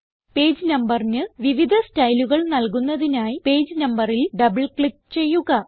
page നമ്പറിന് വിവിധ സ്റ്റൈലുകൾ നല്കുന്നതിനായി പേജ് നമ്പറിൽ ഡബിൾ ക്ലിക്ക് ചെയ്യുക